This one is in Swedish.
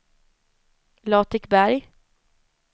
Latikberg